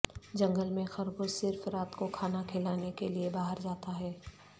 جنگل میں خرگوش صرف رات کو کھانا کھلانے کے لئے باہر جاتا ہے